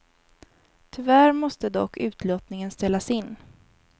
Tyvärr måste dock utlottningen ställas in.